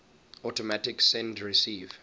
automatic send receive